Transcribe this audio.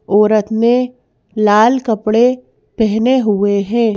औरत ने लाल कपड़े पेहने हुए है।